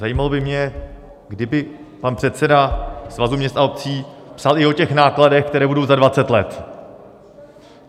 Zajímalo by mě, kdyby pan předseda Svazu měst a obcí psal i o těch nákladech, které budou za 20 let.